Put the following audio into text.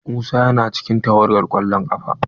Musa yana cikin tawagar kwallon kafa.